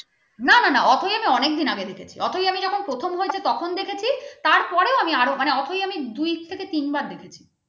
অনেকদিন আগে দেখেছি অথৈ আমি যখন প্রথম হয়েছি তখন দেখেছি তারপরও আরও আমি অথৈ আমি দুই থেকে তিনবার দেখেছি